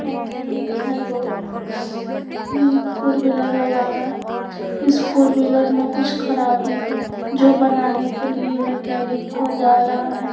Mechanic है दो four wheeler लगा है इस फोर व्हीलर में कुछ खराबी है जो बनाने के लिए मकैनिक को जा रहा है।